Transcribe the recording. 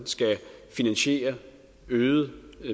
skal finansiere øgede